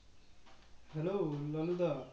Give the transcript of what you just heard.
hello Lalu the